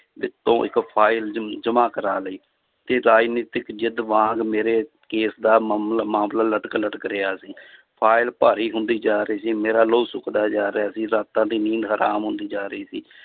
ਤੋਂ ਇੱਕ ਫਾਇਲ ਜਮ~ ਜਮਾਂ ਕਰਵਾ ਲਈ ਤੇ ਰਾਜਨੀਤਿਕ ਜਿੱਦ ਵਾਂਗ ਮੇਰੇ ਕੇਸ ਦਾ ਮਮਲ~ ਮਾਮਲਾ ਲਟਕ ਲਟਕ ਰਿਹਾ ਸੀ ਫਾਇਲ ਭਾਰੀ ਹੁੰਦੀ ਜਾ ਰਹੀ ਸੀ ਮੇਰਾ ਲਹੂ ਸੁੱਕਦਾ ਜਾ ਰਿਹਾ ਸੀ, ਰਾਤਾਂ ਦੀ ਨੀਂਦ ਹਰਾਮ ਹੁੰਦੀ ਜਾ ਰਹੀ ਸੀ